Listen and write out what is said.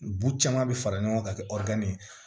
Bu caman bi fara ɲɔgɔn ka kɛ ɛri ye